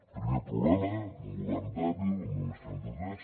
primer problema un govern dèbil amb només trenta tres